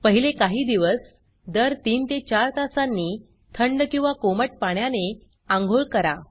पहिले काही दिवस दर 3 ते 4 तासांनी थंड किंवा कोमट पाण्याने आंघोळ करा